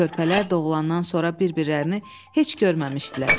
Körpələr doğulandan sonra bir-birlərini heç görməmişdilər.